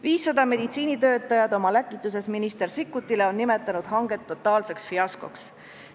500 meditsiinitöötajat oma läkituses minister Sikkutile on nimetanud hanget totaalseks fiaskoks.